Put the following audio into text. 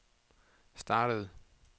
startede